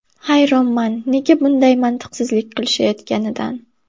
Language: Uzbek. Hayronman nega bunday mantiqsizlik qilishayotganidan”.